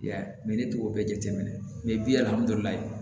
I y'a ye ne t'o bɛɛ jate minɛ bi